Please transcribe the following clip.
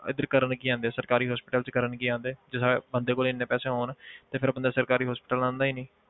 ਇੱਧਰ ਕਰਨ ਕੀ ਆਉਂਦੇ ਆ ਸਰਕਾਰੀ hospital 'ਚ ਕਰਨ ਕੀ ਆਉਂਦੇ ਜੇ ਬੰਦੇ ਕੋਲ ਇੰਨੇ ਪੈਸੇ ਹੋਣ ਤਾਂ ਬੰਦਾ ਫਿਰ ਸਰਕਾਰੀ hospital ਆਉਂਦਾ ਹੀ ਨੀ।